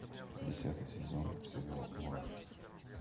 десятый сезон сериал мурашки